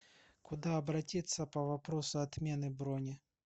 куда обратиться по вопросу отмены брони